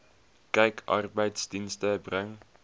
kyk arbeidsdienste bring